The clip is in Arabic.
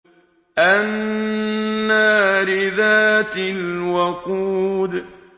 النَّارِ ذَاتِ الْوَقُودِ